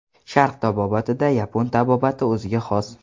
Sharq tabobatida yapon tabobati o‘ziga xos.